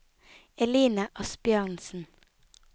Eline Asbjørnsen